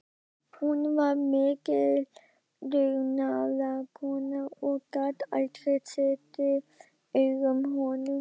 Hún var mikil dugnaðarkona og gat aldrei setið auðum höndum.